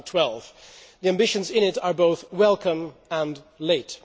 2012. The ambitions in it are both welcome and late.